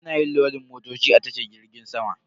Ana yin lodin motoci a tashar jirgin sama.